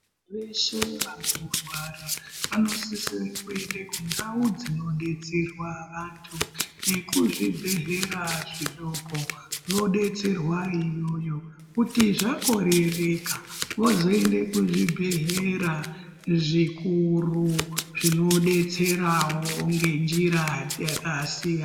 Veshe vanorwara vanosisire kuenda kundau dzinodetserwa vantu nekuzvibhedhlera zvidoko vodetserwa iyoyo. Kuti zvakorereka vozoenda kuzvibhehlera zvikuru zvinodetserawo ngenjira dzakasiyana.